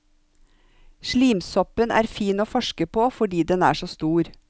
Slimsoppen er fin å forske på fordi den er så stor.